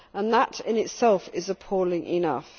That in itself is appalling enough.